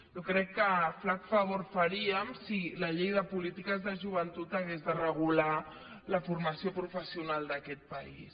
jo crec que flac favor faríem si la llei de polítiques de joventut hagués de regular la formació professional d’aquest país